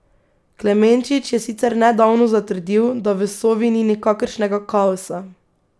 Klemenčič je sicer nedavno zatrdil, da v Sovi ni nikakršnega kaosa.